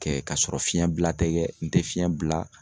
Kɛ ka sɔrɔ fiɲɛ bila tɛ kɛ ,n tɛ fiɲɛ bila.